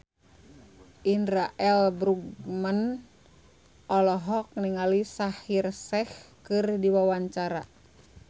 Indra L. Bruggman olohok ningali Shaheer Sheikh keur diwawancara